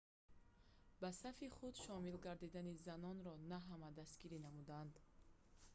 ба сафи худ шомил гардидани занонро на ҳама дастгирӣ намуданд